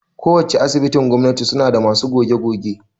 Ko wacce Asibitin gwamnati suna da masu goge-goge